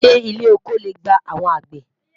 ṣé ilé ọkọ lẹ gbà àwọn àgbẹ?